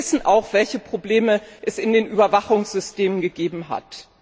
Wir wissen auch, welche Probleme es in den Überwachungssystemen gegeben hat.